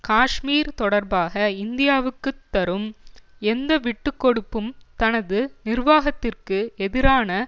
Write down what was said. காஷ்மீர் தொடர்பாக இந்தியாவுக்கு தரும் எந்த விட்டு கொடுப்பும் தனது நிர்வாகத்திற்கு எதிரான